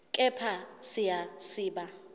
kepha siya siba